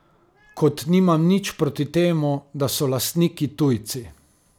Kot nimam nič proti temu, da so lastniki tujci.